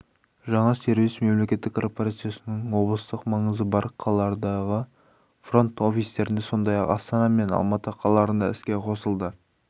жаңа сервис мемлекеттік корпорацияның облыстық маңызы бар қалалардағы фронт-офистерінде сондай-ақ астана мен алматы қалаларында іске қосылды